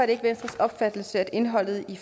ikke venstres opfattelse at indholdet i